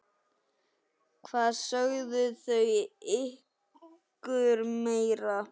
Hvað sögðu þau ykkur meira?